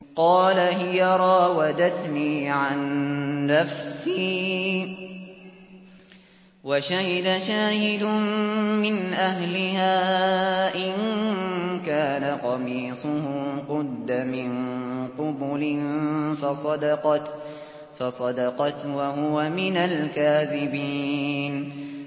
قَالَ هِيَ رَاوَدَتْنِي عَن نَّفْسِي ۚ وَشَهِدَ شَاهِدٌ مِّنْ أَهْلِهَا إِن كَانَ قَمِيصُهُ قُدَّ مِن قُبُلٍ فَصَدَقَتْ وَهُوَ مِنَ الْكَاذِبِينَ